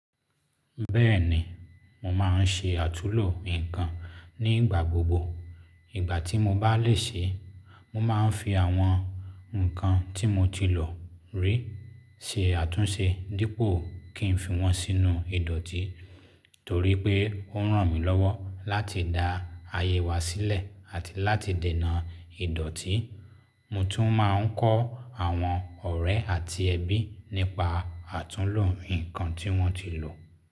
Bẹ́ẹ̀ni, mo máa ń ṣe àtúnlo nǹkan nígbà gbogbo. Ìgbà tí mo bá lè ṣe, mo máa ń fi àwọn nǹkan tí mo ti lò rí ṣe àtúnṣe dípò kí n fi wọn sínú ìdọ̀tí. Torí pé ó ràn mí lọ́wọ́ láti dá àyè wa sílẹ̀ àti láti dènà ìdọ̀tí. Mo tún máa ń kọ́ àwọn ọ̀rẹ́ àti ẹbí nípa àtúnlo nǹkan tí wọ́n ti lò.